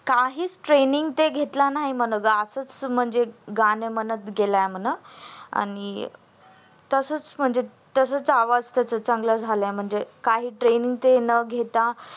काहीच training ते घेतला नाही म्हण ग असाच म्हणजे गाणी म्हणत गेला म्हण आणि तसच म्हणजे तसच आवाज त्याचा चांगला झाला म्हणजे काही Training ते न घेता